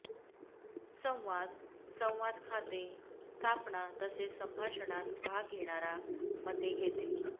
संवाद संवाद खाते स्थापना तसेच संभाषणात भाग घेणारा मते घेते